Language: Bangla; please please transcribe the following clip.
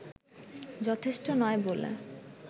যথেষ্ট নই বলে